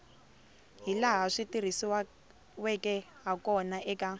hilaha swi tirhisiweke hakona eka